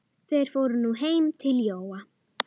En þetta gerir mig líka hrygga.